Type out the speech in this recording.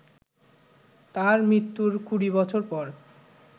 তাঁর মৃত্যুর কুড়ি বছর পর